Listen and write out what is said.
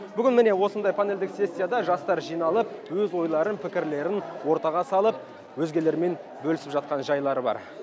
бүгін міне осындай панельдік сессияда жастар жиналып өз ойларын пікірлерін ортаға салып өзгелермен бөлісіп жатқан жайлары бар